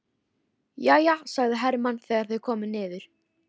Jæja, sagði Hermann þegar þau komu niður.